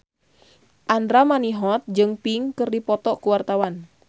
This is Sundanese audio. Andra Manihot jeung Pink keur dipoto ku wartawan